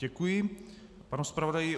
Děkuji panu zpravodaji.